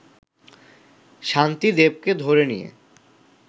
শান্তি দেবকে ধরে নিয়ে